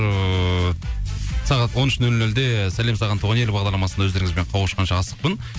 ыыы сағат он үш нөл нөлде сәлем саған туған ел бағдарламасында өздеріңізбен қауышқанша асықпын